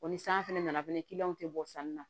Wa ni san fɛnɛ nana fɛnɛ tɛ bɔ sanni na